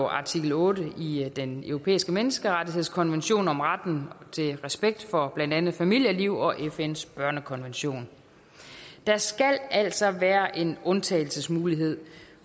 artikel otte i den europæiske menneskerettighedskonvention om retten til respekt for blandt andet familieliv og fns børnekonvention der skal altså være en undtagelsesmulighed